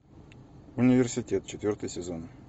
университет четвертый сезон